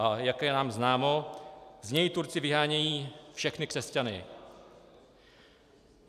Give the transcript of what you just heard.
A jak je nám známo, z něj Turci vyhánějí všechny křesťany.